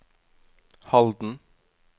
Halden